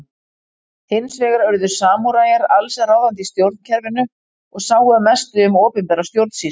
Hins vegar urðu samúræjar alls ráðandi í stjórnkerfinu og sáu að mestu um opinbera stjórnsýslu.